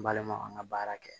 N balima an ka baara kɛ